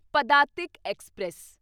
Padatik express